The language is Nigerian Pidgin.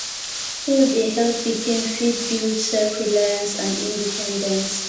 school dey help pikin fit build self reliance and independence